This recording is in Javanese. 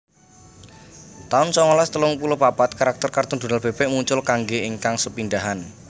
taun songolas telung puluh papat Karakter kartun Donal Bebek muncul kanggé ingkang sepindhahan